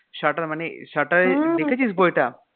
Shutter মানে shutter দেখেছিস বইটা?